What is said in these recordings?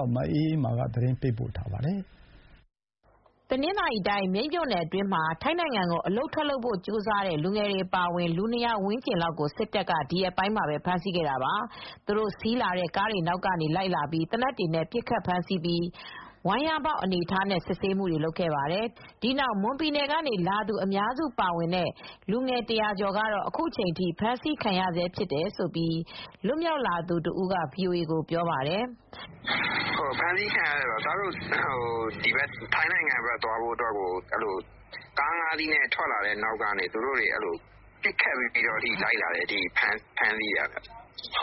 ောက် မအေးအေးမာက သတင်းပေးပို့ထားပါတယ်။ တနင်္သာရီတိုင်း မြိတ်မြို့နယ်အတွင်းမှာ ထိုင်းနိုင်ငံကိုအလုပ်ထွက်လုပ်ဖို့ကြိုးစားတဲ့ လူငယ်တွေ အပါအဝင်လူ ၂၀၀ ဝန်းကျင်လောက်ကို စစ်တပ်က ဒီရက်ပိုင်းမှာပဲ ဖမ်းဆီးခဲ့ပါတယ်။ စစ်တပ်က ကားတွေနောက်ကလိုက်လာပြီး သေနတ်တွေနဲ့ပစ်ခတ်ဖမ်းဆီးပြီး ဝမ်းလျားမှောက်ခိုင်းထားပြီး စစ်ဆေးခဲ့ပါတယ်။ အဖမ်းခံရသူ ၂၀၀ ဝန်းကျင်အနက် မွန်ပြည်နယ်ကလာသူအများစုပါတဲ့လူငယ် ၁၀၀ ကျော်ကတော့ အခုချိန်ထိဖမ်းဆီးခံရဆဲဖြစ်တယ်လို့ လွတ်မြောက်လာသူတဦးက VOAကိုပြောပါတယ်။ "ဖမ်းဆီးခံရတာကတော့ ထိုင်းနိုင်ငံကိုသွားဖို့အတွက် ကားငါးစီးနဲ့ထွက်လာတာကို ပစ်ခတ်ပြီး နောက်ကလိုက်လာတာ။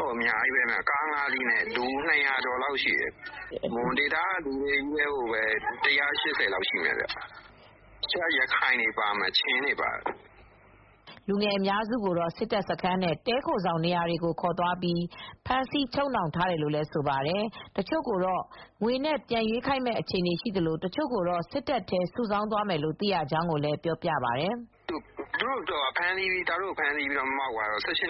အများကြီးပဲ လူ ၂၀၀ ကျော်လောက်ရှိတယ်။ မွန်ဒေသကလူတွေချည်းပဲ ၁၈၀ လောက်ရှိတယ်။ တခြားက ရခိုင်တွေပါတယ်။ ချင်းတွေလည်း ပါတယ်။" လူငယ်အများစုကို စစ်တပ်စခန်းနဲ့ တည်းခိုဆောင်နေရာကိုခေါ်သွားပြီး ဖမ်းဆီးချုပ်နှောင်ထား တယ်လို့ ဆိုပါတယ် ။တချို့ကို ငွေနဲ့ပြန်ရွေးခိုင်းမယ့်အခြေအနေရှိသလို တချို့ကိုတော့ စစ်သားအဖြစ် စုဆောင်းသွားမယ်လို့သိရကြောင်းကိုလည်းပြောပြပါတယ်။ "ကျနော်တို့ကိုဖမ်းဆီးပြီးတဲ့နောက် ၁၈ နှ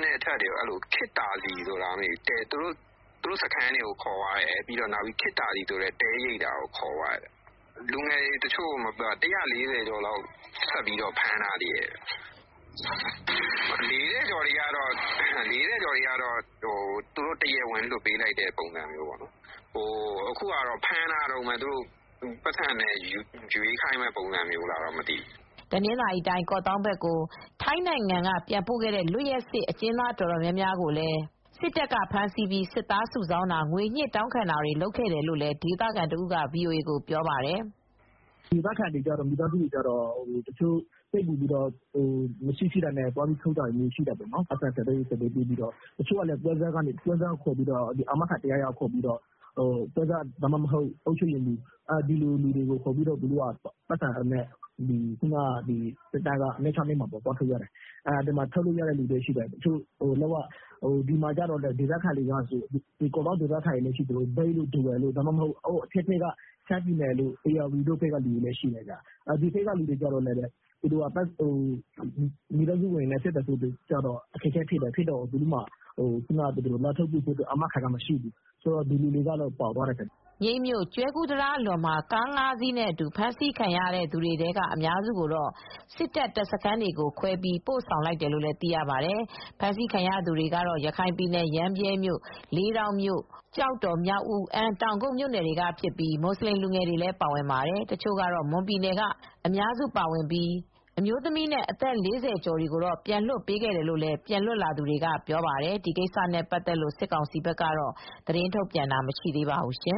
စ်အထက်တွေကိုတော့ ခေတ်သာစည်ဆိုတာ တည်းခိုဆောင် လား မသိဘူး။အဲဒီနေရာကိုခေါ်သွားတာလည်းရှိတယ်။ သူတို့စခန်းကိုလည်း ခေါ်သွားတယ်။ လူငယ် တွေ ၁၄၀ ကျော်လောက်ဖမ်းထားသေးတယ်။ အသက် ၄၀ ကျော်တွေကတော့ တရားဝင်လွှတ်ပေး လိုက်တယ်။ အခုကလူငယ်တွေကိုဖမ်းထားတုန်းပဲ။ သူနဲ့ငွေနဲ့ရွေးခိုင်းမလားတော့ မသိဘူး။" တနင်္သာရီတိုင်း ကော့သောင်းဘက်ကို ထိုင်းနိုင်ငံဘက်ကနေပြန်ပို့ခဲ့တဲ့ လွတ်ရက်စေ့အကျဉ်းသား အတော်များများကိုလည်း စစ်တပ်ကဖမ်းဆီးပြီး စစ်သားစုဆောင်းတာ၊ ငွေညှစ်တောင်းခံတာတွေ ရှိတယ်လို့ ဒေသခံတဦးလည်း VOAကိုပြောပါတယ်။ "ဒေသခံမိသားစုတွေက မရှိ,ရှိတာပေါင်နှံပြီး သွားထုတ်တာရှိတယ်။ တချို့ကလည်း ပွဲစားတွေ အာမခံတယောက်ယောက် ခေါ်သွားတယ်။ ပွဲစား ဒါမှမဟုတ် အုပ်ချုပ်ရေးမှူးဖြစ်ဖြစ်ခေါ်သွားပြီး စစ်တပ်စခန်း ၂၆၂ မှာသွားထုတ်ကြတယ်။ ထုတ်ရတဲ့လူရှိသလို ကော့သောင်းဒေသခံတွေလည်း ရှိသလို အထက်ဘက် ရှမ်းပြည်တို့၊ ဧရာဝတီတို့ဘက်ကလူတွေကတော့ မိသားစုတွေနဲ့ အဆက်အသွယ် ပြတ်တော့ အခက်အခဲရှိတယ်။ အာမခံနိုင်တဲ့သူမရှိ၊ လာထုတ်နိုင်တဲ့သူမရှိဘူး။ အဲဒီလူတွေကတော့ ပါသွားကြတယ်။" မြိတ်မြို့၊ ကျွဲကူးတံတားအလွန်မှာ ကား ၅ စီးကနေ ဖမ်ဆီးခံရသူတွေထဲက အများစုကို စစ်တပ် တပ်စခန်းတွေကိုခွဲပြီး ပို့လိုက်ကြောင်းသိရပါတယ်။ ဖမ်းဆီးခံရတဲ့သူတွေကတော့ ရခိုင်ပြည်၊ ရမ်းဗြဲမြို့ ၊ လေးတောင်မြို့၊ ကျောက်တော်၊ မြောက်ဦး၊ အမ်း၊ တောင်ကုတ်မြို့နယ်တွေကဖြစ်ပြီး မူဆလင်လူငယ်တွေလည်းပါဝင်ပါတယ်။ ဒီတခေါက်ဖမ်းဆီးမှုမှာ မွန်ပြည်နယ်ကအများစုပါဝင်ပြီး အမျိုးသမီးနဲ့ အသက် ၄၀ ကျော်တွေကိုတော့ပြန်လွှတ်ပေးခဲ့တယ်လို့ လည်း ပြန်လွတ်လာသူတွေကပြောပါတယ်။ ဒီကိစ္စနဲ့ပတ်သက်လို့ စစ်ကောင်စီဘက်က သတင်းထုတ်ပြန်တာတော့မရှိသေးပါဘူး။